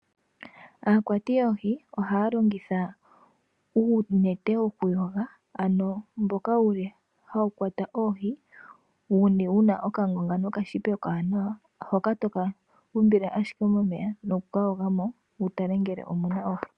Aakwati yoohi ohaya longitha uunete woku yoga, ano mboka wuli hawu kwata oohi, wuna oka ngonga noka shipa okawanawa, hoka toka imbile ashike momeya, noku ka yoga mo, wu tale ngele omuna oohi.